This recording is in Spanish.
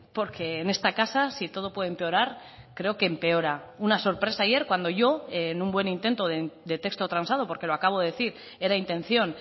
porque en esta casa si todo puede empeorar creo que empeora una sorpresa ayer cuando yo en un buen intento de texto transado porque lo acabo de decir era intención